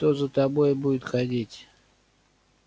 кто за тобой будет ходить